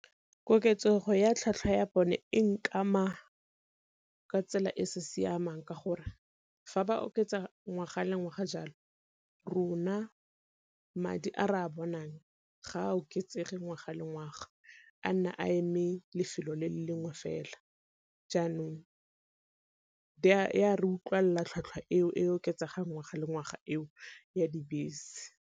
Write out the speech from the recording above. Koketsego ya tlhatlhwa ya bone e nkama ka tsela e sa siamang ka gore fa ba oketsa ngwaga le ngwaga jalo rona madi a re a bonang ga a oketsege ngwaga le ngwaga, a nna a eme lefelo le le lengwe fela. Jaanong e a re utlwalela tlhwatlhwa eo e oketsegang ngwaga le ngwaga eo ya dibese.